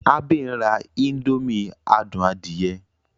Abe n rá indomie adùn adie.